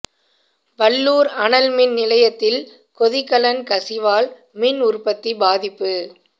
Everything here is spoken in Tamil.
வல்லூர் அனல் மின் நிலையத்தில் கொதிகலன் கசிவால் மின் உற்பத்தி பாதிப்பு